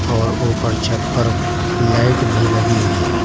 और ऊपर छत पर लाइट भी लगी हुई है।